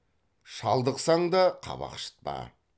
шалдықсаң да қабақ шытпа